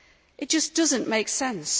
It just does not make sense.